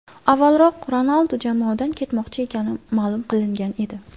Avvalroq Ronaldu jamoadan ketmoqchi ekani ma’lum qilingan edi.